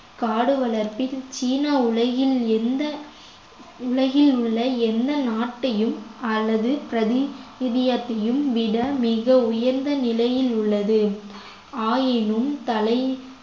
காடு வளர்ப்பின் சீன உலகில் எந்த உலகில் உள்ள எந்த நாட்டையும் அல்லது விட மிக உயர்ந்த நிலையில் உள்ளது ஆயினும் தலை